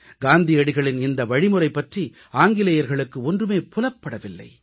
காந்தியடிகளின் இந்த வழிமுறை பற்றி ஆங்கிலேயர்களுக்கு ஒன்றுமே புலப்படவில்லை